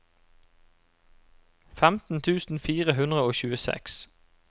femten tusen fire hundre og tjueseks